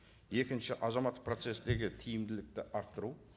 екінші азаматтық процесстегі тиімділікті арттыру